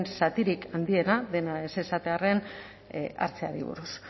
zatirik handiena dena ez esatearren hartzeari buruz